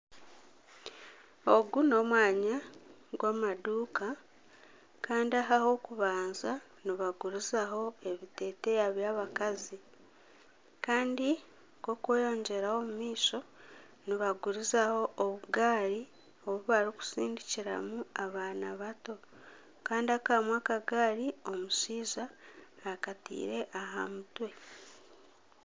Ogu n'omwanya gw'amaduuka kandi aha ah'okubanza nibagurizaho ebiteteeya by'abakazi kandi k'okweyogyeraho omu maisho nibagurizaho obugaari obu barikutsindikiramu abaana bato kandi kamwe akagaari omushaija akataire aha mutwe.